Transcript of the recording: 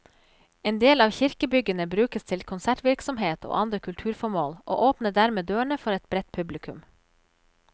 En del av kirkebyggene brukes til konsertvirksomhet og andre kulturformål, og åpner dermed dørene for et bredt publikum.